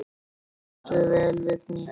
Þú stendur þig vel, Vigný!